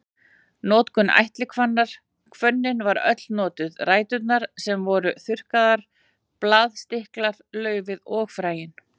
Notkun ætihvannar Hvönnin var öll notuð, ræturnar sem voru þurrkaðar, blaðstilkar, laufið og fræin.